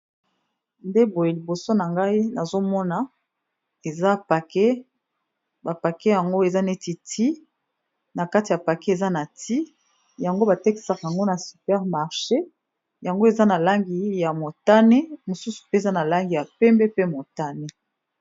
Nde boye liboso na ngai, nazomona eza pake bapake yango eza neti, na kati ya pake eza na ti yango batekisaka yango na supermarche yango eza na langi ya motane mosusu pe eza na langi ya pembe pe motane